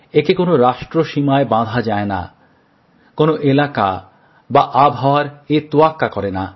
একে কোনো রাষ্ট্রসীমায় বাঁধা যায় না কোনো এলাকা বা আবহাওয়ারও এ তোয়াক্কা করে না